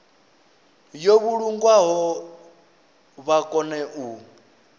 yo vhulungwaho vha kone u